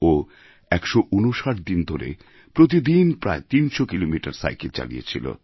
ও ১৫৯ দিন ধরে প্রতি দিন প্রায় ৩০০ কিলোমিটার সাইকেল চালিয়েছিল